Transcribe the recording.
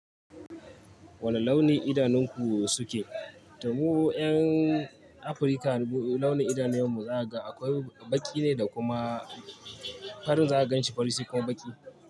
Wane launin idanunku suke? Mu 'yan Afirka launin idanunuwanmu za'ga akwai baƙi ne da kuma farin za a gan shi fari sekua baƙi.